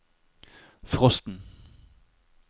frosten